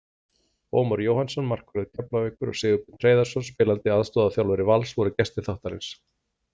Ómar Jóhannsson, markvörður Keflavíkur, og Sigurbjörn Hreiðarsson, spilandi aðstoðarþjálfari Vals, voru gestir þáttarins.